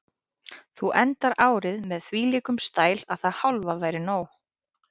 Þú endar árið með þvílíkum stæl að það hálfa væri nóg.